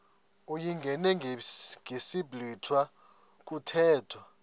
uyingene ngesiblwitha kuthethwa